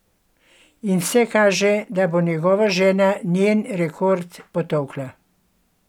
In vse kaže, da bo njegova žena njen rekord potolkla.